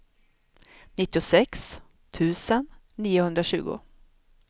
nittiosex tusen niohundratjugo